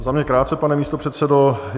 Za mě krátce, pane místopředsedo.